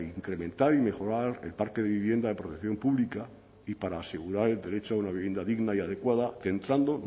incrementar y mejorar el parque de vivienda de protección pública y para asegurar el derecho a una vivienda digna y adecuada centrando